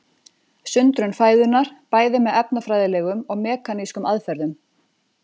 Sundrun fæðunnar bæði með efnafræðilegum og mekanískum aðferðum.